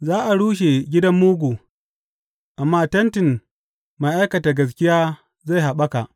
Za a rushe gidan mugu, amma tentin mai aikata gaskiya zai haɓaka.